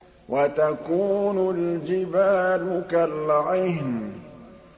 وَتَكُونُ الْجِبَالُ كَالْعِهْنِ